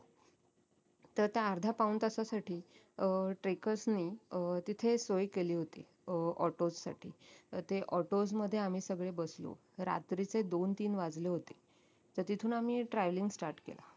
तर त्या अर्ध्या पाऊण तासासाठी अं trackers नी अं तिथे सोय केली होती अं autos साठी ते autos मध्ये आम्ही सगळे बसलो रात्रीचे दोन तीन वाजले होते तर तिथून आम्ही travelling start केला